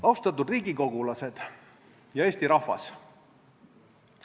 Austatud riigikogulased ja Eesti rahvas!